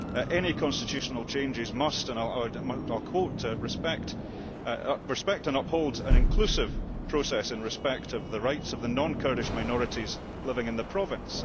Any constitutional changes must, and I quote respect and uphold an inclusive process in respect of the rights of the non Kurdish minorities living in the province'.